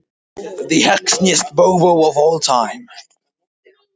Má þar taka sem dæmi sögur Benedikts Ásgrímssonar